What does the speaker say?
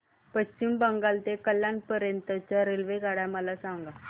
पश्चिम बंगाल ते कल्याण पर्यंत च्या रेल्वेगाड्या मला सांगा